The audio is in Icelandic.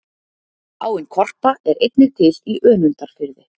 áin korpa er einnig til í önundarfirði